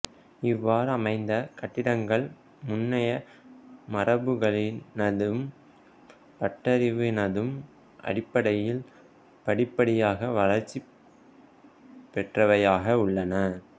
இவ்வாறமைந்த கட்டிடங்கள் முன்னைய மரபுகளினதும் பட்டறிவினதும் அடிப்படையில் படிப்படியாக வளர்ச்சி பெற்றவையாக உள்ளன